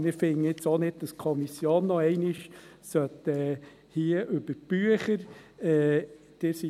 Wir finden auch nicht, dass die Kommission noch einmal über die Bücher gehen muss.